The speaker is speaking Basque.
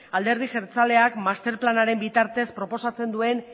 alderdi jeltzaleak master planaren bitartez proposatzen duen